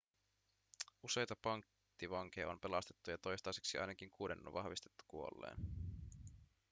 useita panttivankeja on pelastettu ja toistaiseksi ainakin kuuden on vahvistettu kuolleen